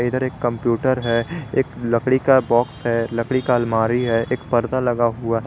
इधर एक कंप्यूटर है एक लकड़ी का बॉक्स है लकड़ी का अलमारी है एक पर्दा लगा हुआ है।